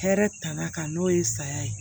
Hɛrɛ tanna ka n'o ye saya ye